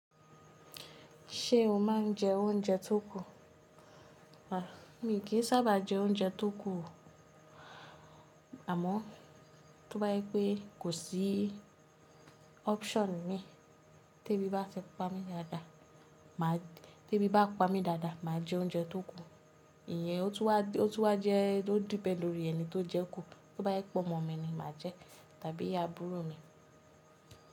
Ṣé o máa ń jẹ oúnjẹ tó kù? Rárá mi kì í sábà jẹ oúnjẹ tó kù, àmọ́ tó bá jẹ pé kò sí option mi, tí ebi bá fipá mi dáadáa, tí ebi bá pa mí dáadáa, màá jẹ oúnjẹ tó kù. Ìyẹn ó tún wá jẹ́ ó depend lori ẹni tó jẹ kù. Tó bá jẹ pe omọ̀ mí ni màá jẹ, tàbí àbúrò mi.